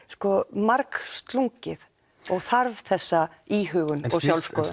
margslungið og þarf þessa íhugun og sjálfsskoðun